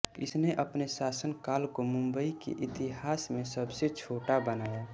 इसने अपने शासनकाल को मुम्बई के इतिहास में सबसे छोटा बनाया